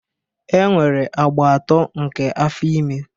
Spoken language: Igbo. E nwere agba atọ nke afọ ime.